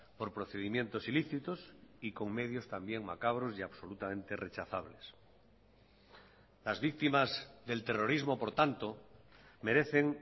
por procedimientos ilícitos y con medios también macabros y absolutamente rechazables las víctimas del terrorismo por tanto merecen